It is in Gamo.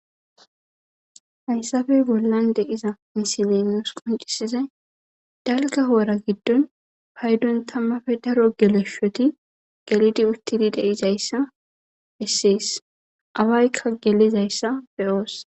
Hayssafey bollan deiza misilemuus qoncisizay dalga hoora giddon paydon tammafe daro geleshoti gelidi uttidi deizayssa issiyis awaykka gelizayssa beyoos.